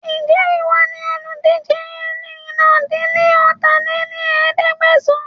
Ń jẹ́ ìwọ ni olùdíje eérinlá-dín-ní-ọ́ta lé ní ẹ̀ẹ́dẹ́gbẹ́sán